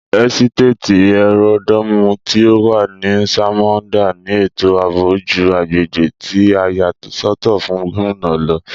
ẹ́sítéètì ẹ́ródòomù tí o wà ní sámońdà ní ètò ààbò jù agbègbè tí a yà sọ́tọ̀ fún Gómìnà lọ